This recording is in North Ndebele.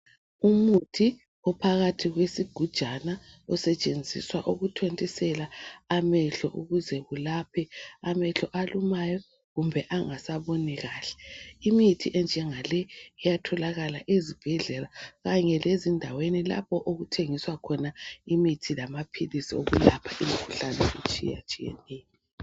umuthi phakathi kwesigujana osetshenziswa ukuthontisela amehlo ukuze kulaphe amehlo alumayo kumbe angasaboni kahle imithi enjenga le iyatholakala ezibhedlela kanye lezindaweni lapho okuthengiswa khona imithi lamaphilisi okulapha imikhuhlane etshiyatshiyaneyo